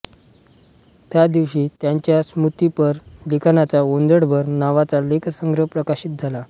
त्या दिवशी त्यांच्या स्मृतिपर लिखाणांचा ओंजळभर नावाचा लेखसंग्रह प्रकाशित झाला